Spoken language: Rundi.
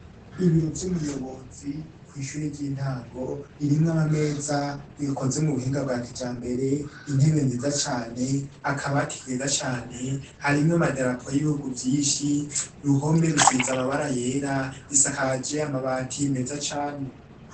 Ibiro vy'umuyobozi kw'ishure ry'intango ririmwo amameza akozwe mu buhinga bwa kijambere, intebe nziza cane, akabati keza cane, harimwo amadarapo y'ibihugu vyinshi, uruhome rusize amabara yera, isakaje amabati meza cane.